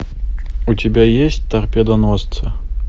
у тебя есть торпедоносцы